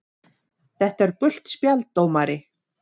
. þetta er gult spjald dómari!!!